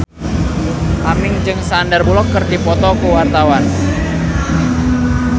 Aming jeung Sandar Bullock keur dipoto ku wartawan